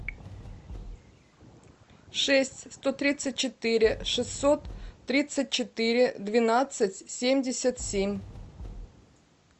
шесть сто тридцать четыре шестьсот тридцать четыре двенадцать семьдесят семь